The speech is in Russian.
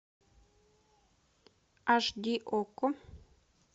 аш ди окко